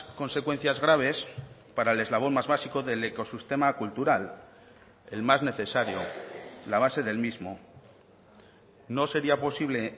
consecuencias graves para el eslabón más básico del ecosistema cultural el más necesario la base del mismo no sería posible